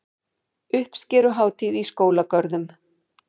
Uppskeruhátíð í skólagörðum